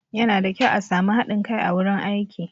Yana da kyau a sami haɗin kai a wurin aiki